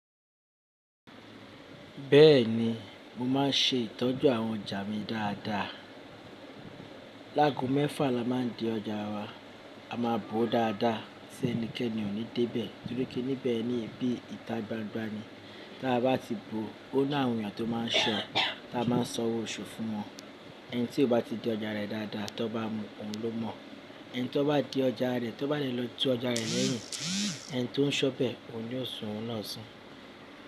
Bẹ́ẹ̀ni, mo máa ń ṣe ìtọ́jú àwọn ọjà mi dáadáa. Láàgò mẹ́fà la máa ń de ọjà wa, a ma bo dáadáa ṣé ẹnikẹ́ni ò ní dé bẹ̀, torí pé níbẹ̀ ni ibi ìta gbangba ni. Tí a bá ti bo, ó ní àwọn èèyàn tó máa ń ṣọ, tí a ma sọ̀wọ́ òṣù fún wọn. Ẹni tí kò bá ti di ọjà rẹ̀ dáadáa tí ó bá mu, òun ló mọ̀. Ẹni tí ó bá di ọjà rẹ̀, tí ó bá le lọ tú ọjà rẹ̀ lẹ́yìn, ẹni tó ń ṣọ bẹ, òun yóò sun òun náà sún.